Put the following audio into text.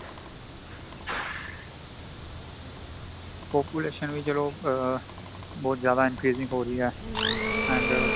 population ਵੀ ਚੱਲੋ ਆਂ ਬਹੁਤ ਜ਼ਿਆਦਾ increasing ਹੋ ਰਹੀ ਹੈ and